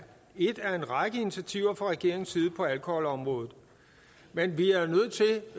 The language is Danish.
et af en række initiativer fra regeringens side på alkoholområdet men vi